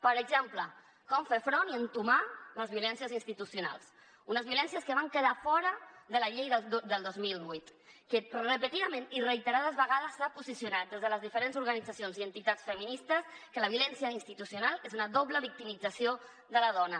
per exemple com fer front i entomar les violències institucionals unes violències que van quedar fora de la llei del dos mil vuit que repetidament i reiterades vegades s’han posicionat des de les diferents organitzacions i entitats feministes que la violència institucional és una doble victimització de la dona